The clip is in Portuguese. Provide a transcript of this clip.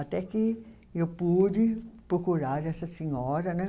Até que eu pude procurar essa senhora, né?